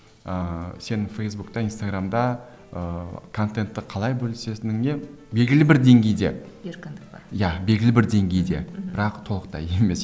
ыыы сен фейсбукте инстаграмда ыыы контентті қалай бөлісетініңе білгілі бір деңгейде еркіндік бар иә белгілі бір деңгейде мхм бірақ толықтай емес